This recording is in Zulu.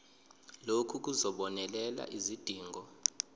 lokhu kuzobonelela izidingo